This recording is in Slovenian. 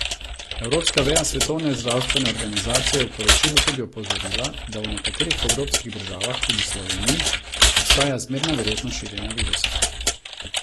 Evropska veja Svetovne zdravstvene organizacije je v poročilu tudi opozorila, da v nekaterih evropskih državah, tudi Sloveniji, obstaja zmerna verjetnost širjenja virusa.